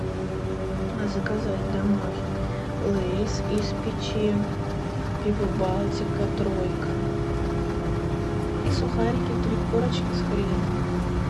заказать домой лейс из печи пиво балтика тройка и сухарики три корочки с хреном